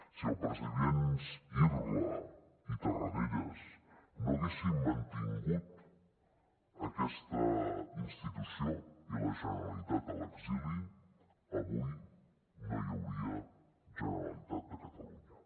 si els presidents irla i tarradellas no haguessin mantingut aquesta institució i la generalitat a l’exili avui no hi hauria generalitat de catalunya